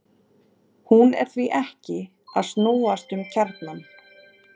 Hún er því ekki að snúast um kjarnann!